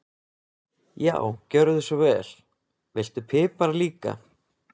Já, gjörðu svo vel. Viltu pipar líka?